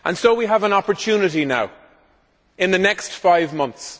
We have an opportunity now in the next five months.